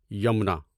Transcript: Yamuna